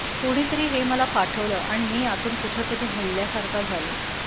कोणीतरी हे मला पाठवलं आणि मी आतून कुठं तरी हलल्यासारखा झालो